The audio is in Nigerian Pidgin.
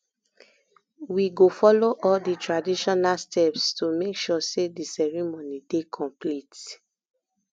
we go follow all di traditional steps to make sure say di ceremony dey complete